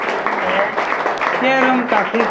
Room है। यह room काफी--